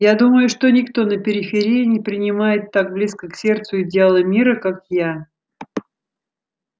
я думаю что никто на периферии не принимает так близко к сердцу идеалы мира как я